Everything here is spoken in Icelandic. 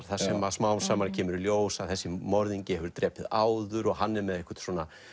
þar sem smám saman kemur í ljós að þessi morðingi hefur drepið áður og hann er með eitthvert